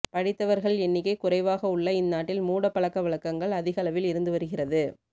படித்தவர்கள் எண்ணிக்கை குறைவாக உள்ள இந்நாட்டில் மூடப்பழக்க வழக்கங்கள் அதிகளவில் இருந்து வருகிறது